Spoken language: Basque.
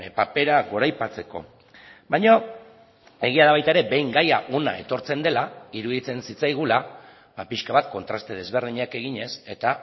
papera goraipatzeko baina egia da baita ere behin gaia hona etortzen dela iruditzen zitzaigula pixka bat kontraste desberdinak eginez eta